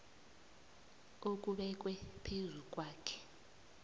okubekwe phezu kwakhe